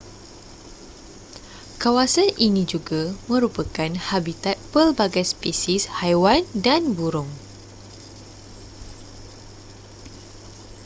kawasan ini juga merupakan habitat pelbagai spesies haiwan dan burung